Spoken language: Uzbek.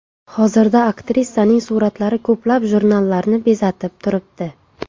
Hozirda aktrisaning suratlari ko‘plab jurnallarni bezatib turibdi.